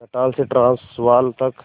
Natal से Transvaal तक